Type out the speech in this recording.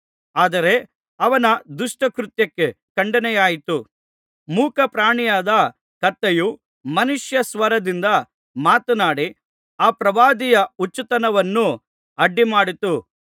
ಆದರೆ ಅವನ ದುಷ್ಟ ಕೃತ್ಯಕ್ಕೆ ಖಂಡನೆಯಾಯಿತು ಮೂಕ ಪ್ರಾಣಿಯಾದ ಕತ್ತೆಯು ಮನುಷ್ಯಸ್ವರದಿಂದ ಮಾತನಾಡಿ ಆ ಪ್ರವಾದಿಯ ಹುಚ್ಚುತನವನ್ನು ಅಡ್ಡಿ ಮಾಡಿತು